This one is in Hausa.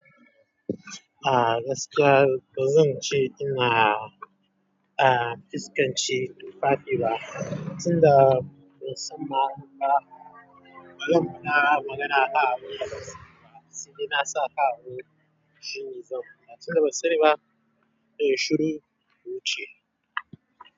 Ah gaskiya ba zan ce ina ah fuskanci tufafi ba, sanda na san ma banza, bazan faɗa magana ba akan abinda ban sani ba sai na sa kawai shine zan ba. Sanda bansaniba zanyi shiru na wuce.